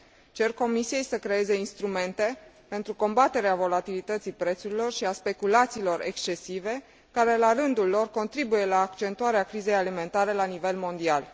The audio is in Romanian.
Cer Comisiei să creeze instrumente pentru combaterea volatilității prețurilor și a speculațiilor excesive care, la rândul lor, contribuie la accentuarea crizei alimentare la nivel mondial.